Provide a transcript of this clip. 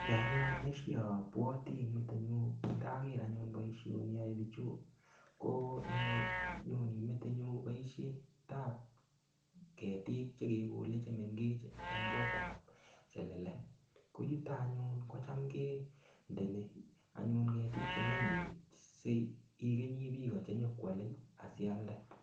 Kiy anyun neshiabuati eng metinyun ndaker anyun boishoni yoe bichu ko nyoni metinyun boishet ap ketik chekekole chemengech eng koot ap selele ko yuto anyun ko cham kendeni anyun ketik chemengech sikenyi biko chenyoko alei sialde.